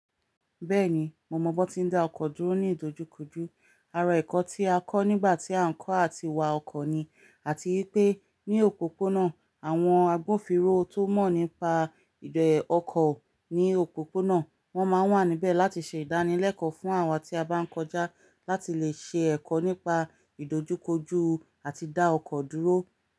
Bẹ́ẹ̀ni, mo mọ̀ bọ́ tí ń dá ọkọ̀ dúró ní ìdojúkojú. Ara ẹ̀kọ́ tí a kọ́ nígbà tí à ń kọ́ àti wa ọkọ̀ ni. Àti ipé ní òpópónà àwọn agbófinró tó mọ̀ nípa ọkọ̀ ní òpópónà wọ́n máa ń wà níbẹ̀ láti ṣe ìdánilẹ́kọ̀ọ́ fún àwa tí a bá ń kọjá láti lè ṣe ẹ̀kọ́ nípa ìdojúkojú àti dá ọkọ̀ dúró.